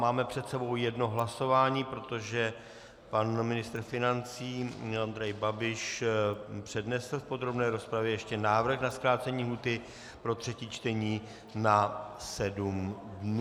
Máme před sebou jedno hlasování, protože pan ministr financí Andrej Babiš přednesl v podrobné rozpravě ještě návrh na zkrácení lhůty pro třetí čtení na sedm dnů.